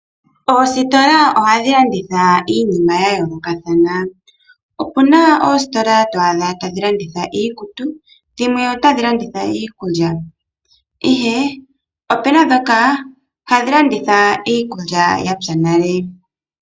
Oositola ohadhi landitha iinima yayooloka thana. Opuna oositola twaadha tadhi landitha iikutu dhimwe otadhi landitha iikulya ihe opuna dhoka hadhi landitha iikulya yapya nale.